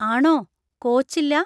ആണോ, കോച്ചില്ലാ?